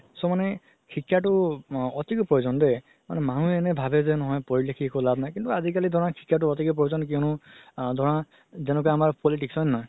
so মানে শিক্ষাতো এতিকে প্ৰয়োজন দেই মানে মানুহ এনে ভাবে যে নহয় পঢ়ি লিখি একো লাভ নাই কিন্তু আজিকালি ধৰা শিক্ষাতো এতিকে প্ৰয়োজন কিয়নো ধৰা আ যেনেকৈ আমাৰ politics হয় নে নহয়